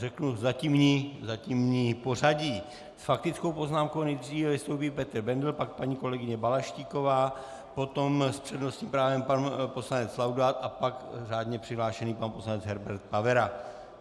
Řeknu zatímní pořadí: s faktickou poznámkou nejdříve vystoupí Petr Bendl, pak paní kolegyně Balaštíková, potom s přednostním právem pan poslanec Laudát a pak řádně přihlášený pan poslanec Herbert Pavera.